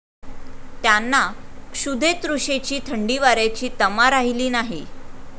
त्यांना क्षुधेतृषेची, थंडीवाऱ्याची तमा राहिली नाही.